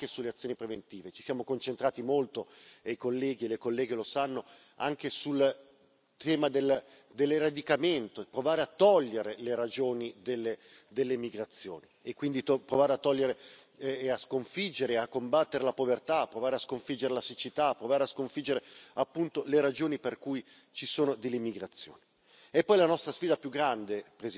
Per questo ci siamo concentrati molto anche sulle azioni preventive. Ci siamo concentrati molto e i colleghi e le colleghe lo sanno anche sul tema dell'eradicamento, cioè provare a togliere le ragioni delle migrazioni e quindi provare a togliere, a sconfiggere, a combattere la povertà, provare a sconfiggere la siccità, provare a sconfiggere le ragioni per cui ci sono delle migrazioni.